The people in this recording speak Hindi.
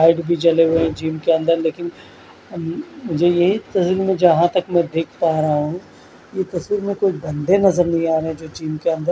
लाइट भी जले हुए जिम के अंदर लेकिन अ मुझे ये जहां तक मैं देख पा रहा हूं ये तस्वीर में कोई बंदे नजर नहीं आ रहे जो जिम के अंद--